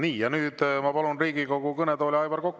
Nii, nüüd ma palun Riigikogu kõnetooli Aivar Koka.